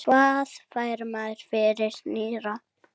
Hvað fær maður fyrir nýra?